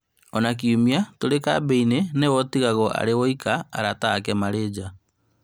Ona kiumia tũrĩ kambĩ-inĩ nĩwe ũtigagwo arĩ woika arata ake marĩ nja